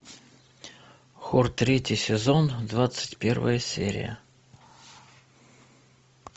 хор третий сезон двадцать первая серия